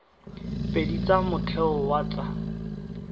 pedi tsa motheo wa tsa